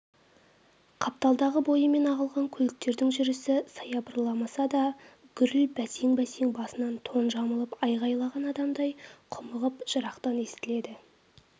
қапталдағы бойымен ағылған көліктердің жүрісі саябырламаса да гүріл бәсең-бәсең басына тон жамылып айғайлаған адамдай құмығып жырақтан естіледі